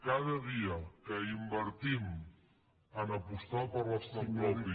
cada dia que invertim a apostar per l’estat propi